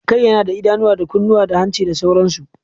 Kai yana da idanuwa, da kunnuwa, da hanci da sauransu